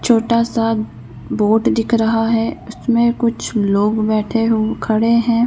छोटासा बोट दिख रहा है। उसमें कुछ लोग बैठे हू खड़े हैं।